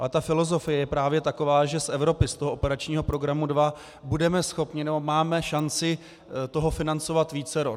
Ale ta filozofie je právě taková, že z Evropy, z toho operačního programu 2, budeme schopni, nebo máme šanci toho financovat vícero.